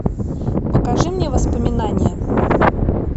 покажи мне воспоминание